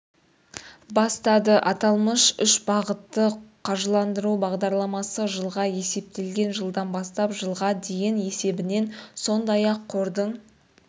бастады аталмыш үш бағытты қаржыландыру бағдарламасы жылға есептелген жылдан бастап жылға дейін есебінен сондай-ақ қордың